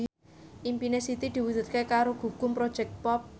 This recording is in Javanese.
impine Siti diwujudke karo Gugum Project Pop